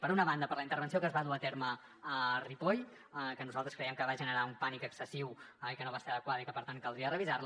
per una banda per la intervenció que es va dur a terme a ripoll que nosaltres creiem que va generar un pànic excessiu que no va ser adequada i que per tant caldria revisar la